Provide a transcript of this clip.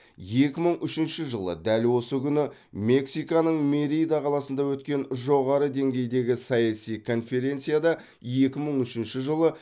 екі мың үшінші жылы дәл осы күні мексиканың мерида қаласында өткен жоғары деңгейдегі саяси конференцияда екі мың үшінші жылы